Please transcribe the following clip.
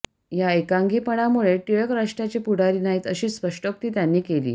या एकांगीपणामुळे टिळक राष्ट्राचे पुढारी नाहीत अशी स्पष्टोक्ती त्यांनी केली